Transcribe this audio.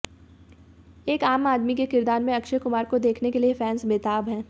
एक आम आदमी के किरदार में अक्षय कुमार को देखने के लिए फैंस बेताब हैं